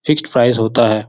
Fix price होता है।